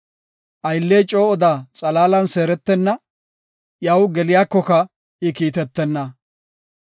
Aylley coo oda xalaalan seeretenna; iyaw geliyakoka I kiitetenna.